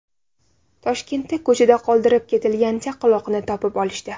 Toshkentda ko‘chada qoldirib ketilgan chaqaloqni topib olishdi .